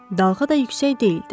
Dalğa da yüksək deyildi.